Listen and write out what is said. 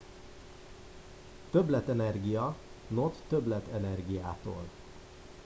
"""többletenergia" not többlet energiától.